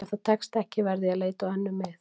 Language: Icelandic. Ef það tekst ekki verð ég að leita á önnur mið.